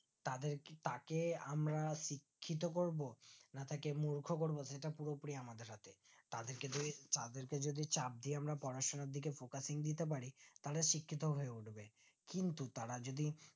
তাদেরকেতাকে আমরা শিক্ষিত করবো না তাকে মূর্খ করবো সেটা পুরোপুরি আমাদের হাতে তাদের যদি তাদেরকে যদি চাপ দিয়ে আমরা পড়াশোনার দিকে focus নিয়ে যেতে পারি তাহলে শিক্ষিত হয়ে উঠবে কিন্তু তারা যদি